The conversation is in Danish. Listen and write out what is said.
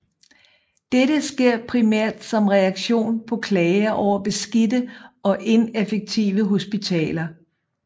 Dette sker primært som reaktion på klager over beskidte og ineffektive hospitaler